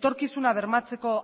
etorkizuna bermatzeko